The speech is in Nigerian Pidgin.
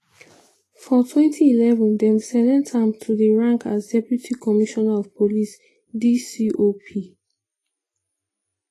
for 2011 dem select am to di rank as deputy commissioner of police (dcop).